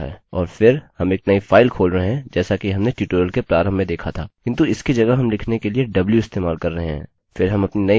और फिर हम एक नई फाइल खोल रहे हैं जैसा कि हमने ट्यूटोरियल के प्रारम्भ में देखा था किन्तु इसकी जगह हम लिखने के लिए w इस्तेमाल कर रहे हैं